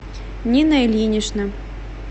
нина ильинична